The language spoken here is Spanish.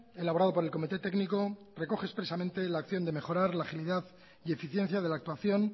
elaborado por el comité técnico recoge expresamente la acción de mejorar la agilidad y eficiencia de la actuación